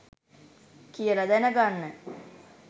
කියලා දැනගන්න